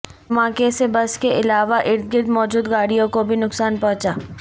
دھماکے سے بس کے علاوہ اردگرد موجود گاڑیوں کو بھی نقصان پہنچا